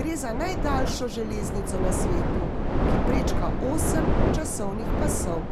gre za najdaljšo železnico na svetu, ki prečka osem časovnih pasov.